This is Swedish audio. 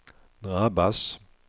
drabbas